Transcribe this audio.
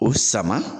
O sama